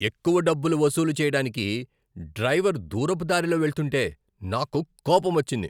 ఎక్కువ డబ్బులు వసూలు చెయ్యడానికి డ్రైవర్ దూరపు దారిలో వెళ్తుంటే నాకు కోపం వచ్చింది.